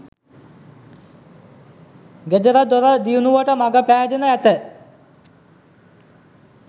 ගෙදර දොර දියුණුවට මග පෑදෙනු ඇත.